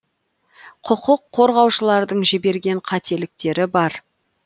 құқық қорғаушылардың жіберген қателіктері бар